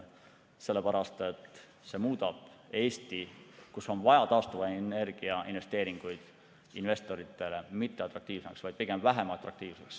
See muudab Eesti, kus on vaja investeeringuid taastuvenergiasse, investoritele mitte atraktiivsemaks, vaid pigem vähem atraktiivseks.